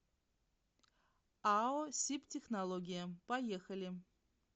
ао сибтехнология поехали